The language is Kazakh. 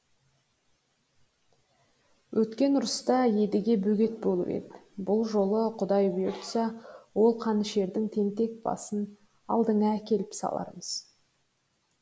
өткен ұрыста едіге бөгет болып еді бұл жолы құдай бұйыртса ол қанішердің тентек басын алдыңа әкеп салармыз